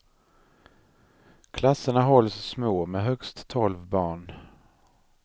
Klasserna hålls små, med högst tolv barn.